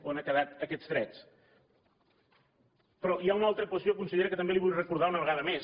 on han quedat aquests drets però hi ha una altra qüestió consellera que també li vull recordar una vegada més